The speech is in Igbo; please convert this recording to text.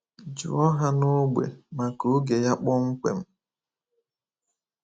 Jụọ ha n’ógbè maka oge ya kpọmkwem.